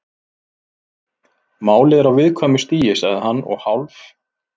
Málið er á viðkvæmu stigi- sagði hann og hálf